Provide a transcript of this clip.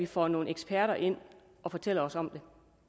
får nogle eksperter ind at fortælle os om